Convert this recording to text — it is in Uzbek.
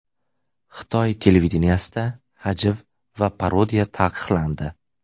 Xitoy televideniyesida hajv va parodiya taqiqlandi.